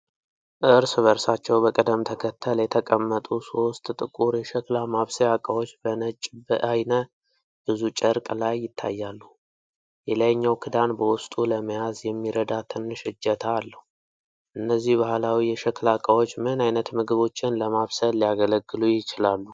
እርስ በእርሳቸው በቅደም ተከተል የተቀመጡ ሶስት ጥቁር የሸክላ ማብሰያ ዕቃዎች በነጭ በዓይነ-ብዙ ጨርቅ ላይ ይታያሉ። የላይኛው ክዳን በውስጡ ለመያዝ የሚረዳ ትንሽ እጀታ አለው። እነዚህ ባህላዊ የሸክላ ዕቃዎች ምን ዓይነት ምግቦችን ለማብሰል ሊያገለግሉ ይችላሉ?